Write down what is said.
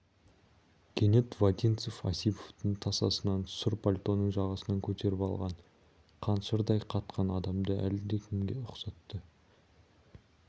кенет вотинцев осиповтың тасасынан сұр пальтоның жағасын көтеріп алған қаншырдай қатқан адамды әлдекімге ұқсатты